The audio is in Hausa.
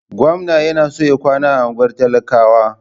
Gwamna yana so ya kwana a unguwar talakawa.